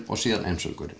og síðan